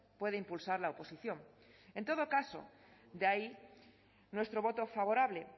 puede impulsar la oposición en todo caso de ahí nuestro voto favorable